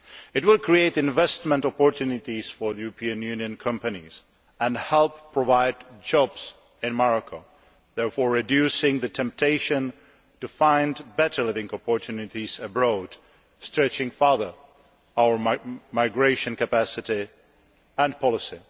It will create investment opportunities for European Union companies and help provide jobs in Morocco, therefore reducing the temptation to find better living opportunities abroad thus stretching further our migration capacity and policy.